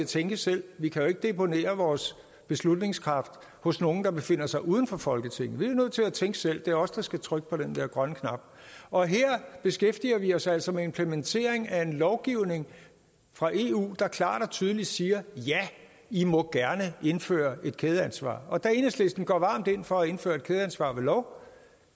tænke selv vi kan jo ikke deponere vores beslutningskraft hos nogle der befinder sig uden for folketinget men vi er nødt til at tænke selv for det er os der skal trykke på den grønne knap og her beskæftiger vi os altså med implementeringen af en lovgivning fra eu der klart og tydeligt siger ja i må gerne indføre et kædeansvar og da enhedslisten går varmt ind for at indføre et kædeansvar ved lov